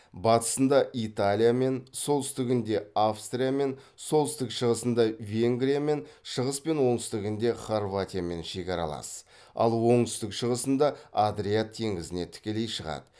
батысында италиямен солтүстігінде австриямен солтүстік шығысында венгриямен шығыс пен оңтүстігінде хорватиямен шекаралас ал оңтүстік шығысында адриат теңізіне тікелей шығады